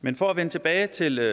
men for at vende tilbage til